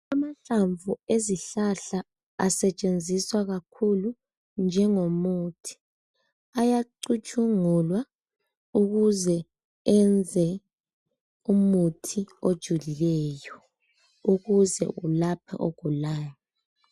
Amahlamvu awezihlahla asetshenziswa kakhulu njengomuthi ayacutshungulwa ukuze enze umuthi ojulileyo ukuze ulaphe ogulayo